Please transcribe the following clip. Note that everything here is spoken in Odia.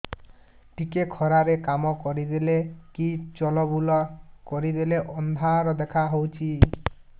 ଟିକେ ଖରା ରେ କାମ କରିଦେଲେ କି ଚଲବୁଲା କରିଦେଲେ ଅନ୍ଧାର ଦେଖା ହଉଚି